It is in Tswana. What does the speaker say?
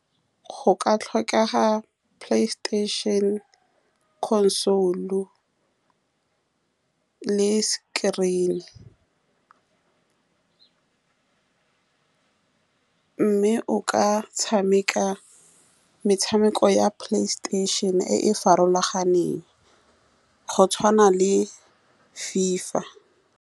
Go ka tlhokega PlayStation-e console le screen-e, mme o ka tshameka metshameko ya PlayStation-e e e farologaneng, go tshwana le FIFA.